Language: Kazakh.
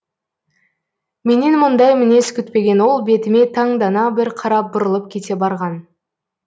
менен мұндай мінез күтпеген ол бетіме таңдана бір қарап бұрылып кете барған